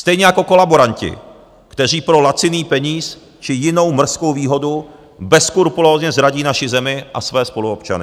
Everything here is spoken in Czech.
Stejně jako kolaboranti, kteří pro laciný peníz či jinou mrzkou výhodu bezskrupulózně zradí naši zemi a své spoluobčany.